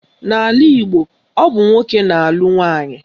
N'ala Igbo, ọ bụ nwoke na-alụ nwaanyị.